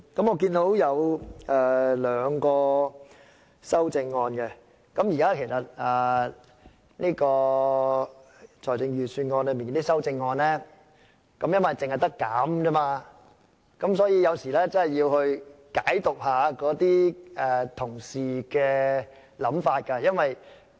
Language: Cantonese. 我看到有兩項修正案，由於對財政預算案提出的修正案只可減少開支，所以有時真的要解讀一下同事的想法。